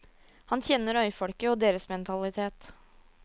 Han kjenner øyfolket og deres mentalitet.